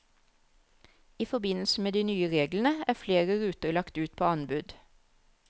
I forbindelse med de nye reglene er flere ruter lagt ut på anbud.